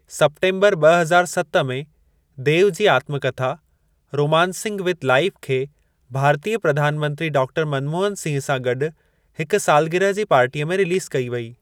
September ब॒ हज़ार सत में, देव जी आत्मकथा 'रोमांसिंग विद लाइफ' खे भारतीय प्रधान मंत्री डॉ. मनमोहन सिंह सां गॾु हिक सालगिरह जी पार्टीअ में रिलीज़ कई वई।